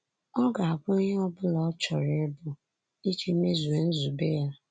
Ọ ga abụ ihe ọ bụla ọ chọrọ ịbụ iji mezuo nzube ya.